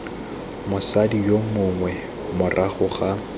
mosadi yo mongwe morago ga